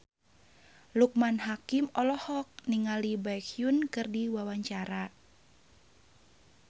Loekman Hakim olohok ningali Baekhyun keur diwawancara